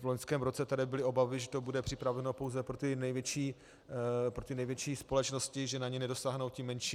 V loňském roce tady byly obavy, že to bude připraveno pouze pro ty největší společnosti, že na ně nedosáhnou ty menší.